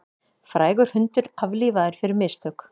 Frægur hundur aflífaður fyrir mistök